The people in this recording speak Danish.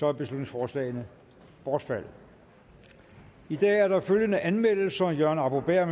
er beslutningsforslagene bortfaldet i dag er der følgende anmeldelser jørgen arbo bæhr